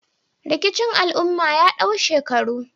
Rikicin al'umma ya dau shekaru